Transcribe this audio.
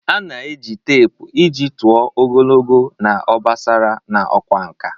A na-eji teepu iji tụọ ogologo na obosara n'ịkwa nkà.